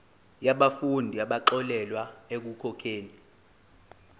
yabafundi abaxolelwa ekukhokheni